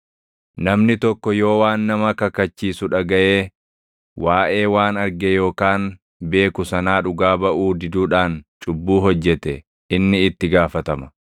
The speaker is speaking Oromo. “ ‘Namni tokko yoo waan nama kakachiisu dhagaʼee waaʼee waan arge yookaan beeku sanaa dhugaa baʼuu diduudhaan cubbuu hojjete inni itti gaafatama.